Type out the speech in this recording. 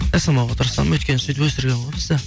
жасамауға тырысамын өйткені сөйтіп өсірген ғой бізді